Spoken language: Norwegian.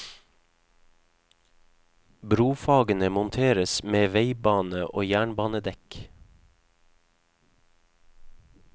Brofagene monteres med veibane og jernbanedekk.